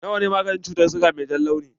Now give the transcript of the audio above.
Na wa ne maganin ciwon siga mai jan launi?